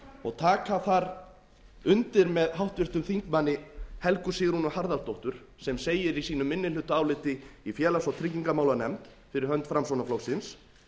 og taka þar undir með háttvirtum þingmanni helgu sigrúnu harðardóttur sem segir í sínu minnihlutaáliti í félags og tryggingamálanefnd fyrir hönd framsóknarflokksins